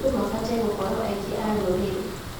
Andũ mabatiĩ gũkorwo aigi a rũrĩrĩ.